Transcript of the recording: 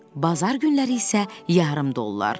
Bazar günləri isə yarım dollar.